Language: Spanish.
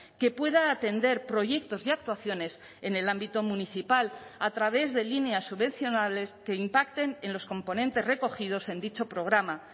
que pueda atender proyectos y actuaciones en el ámbito municipal a través de líneas subvencionales que impacten en los componentes recogidos en dicho programa